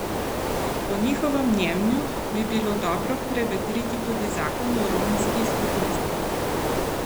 Po njihovem mnenju bi bilo dobro prevetriti tudi zakon o romski skupnosti.